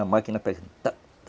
A máquina faz tá tá